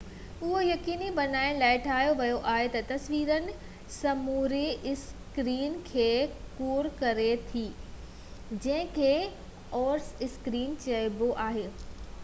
اهو يقيني بڻائڻ لاءِ ٺاهيو ويو آهي تہ تصوير سموري اسڪرين کي ڪور ڪري ٿي جنهن کي اور اسڪرين چئبو آهي